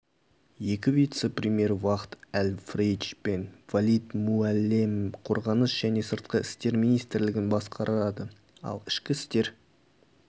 екі вице-премьер фахд әл-фрейдж мен валид муәллем қорғаныс және сыртқы істер министрлігін басқарады ал ішкі істер